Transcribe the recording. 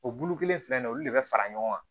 O bulu kelen filɛ nin ye olu de bɛ fara ɲɔgɔn kan